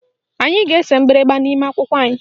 Anyị ga-ese mgbịrịgba n'ime akwụkwọ anyị